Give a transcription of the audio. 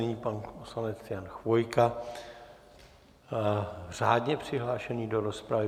Nyní pan poslanec Jan Chvojka, řádně přihlášený do rozpravy.